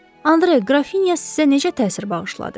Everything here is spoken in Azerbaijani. Andre, qrafinya sizə necə təsir bağışladı?